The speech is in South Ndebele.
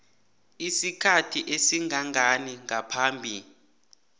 isikhathi esingangani ngaphambi